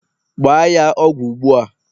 gbaa ya ọgwụ ugbu a!